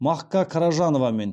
мақка қаражановамен